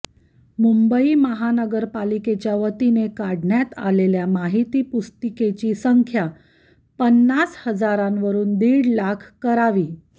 मुंबई महानगरपालिकेच्यावतीने काढण्यात आलेल्या माहिती पुस्तिकेची संख्या पन्नास हजारावरून दीड लाख करावी